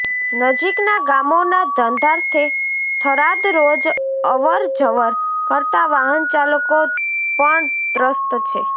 નજીકના ગામોના ધંધાર્થે થરાદ રોજ અવરજવર કરતા વાહનચાલકો પણ ત્રસ્ત છે